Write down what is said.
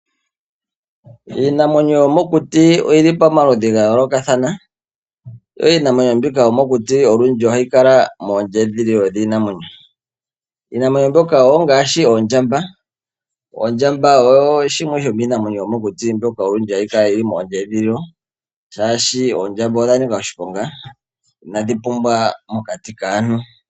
Iinamwenyo yomokuti oyi li pomaludhi ga yoolokathana. Yo iinamwenyo mbika yomokuti olundji oha yi kala moondjedhililo dhiinamwenyo. Iinamwenyo mbyoka wo ongaashi oondjamba. Ondjamba oyo shimwe sho niinamwenyo yomokuti mbyoka owundji hayi kala mondjedhililo shaashi oondjamba odha nika oshiponga inadhi pumbwa mokati kaantu.